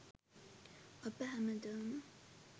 අප හැමදාම